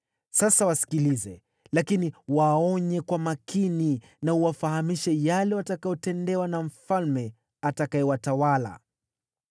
Sasa wasikilize, lakini waonye kwa makini na uwafahamishe yale watakayotendewa na mfalme atakayewatawala.”